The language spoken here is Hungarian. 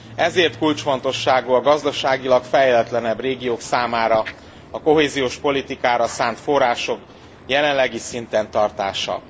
Ezért kulcsfontosságú a gazdaságilag fejletlenebb régiók számára a kohéziós politikára szánt források jelenlegi szinten tartása.